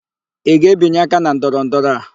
Ị ga-ebinye aka na ndọrọndọrọ a?